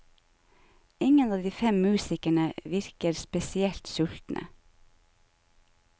Ingen av de fem musikerne virker spesielt sultne.